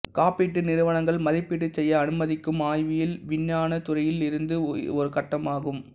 காப்பீட்டு நிறுவனங்கள் மதிப்பீடு செய்ய அனுமதிக்கும் ஆய்வியல் விஞ்ஞான துறையில் இருந்து இது ஒரு கட்டமாகும்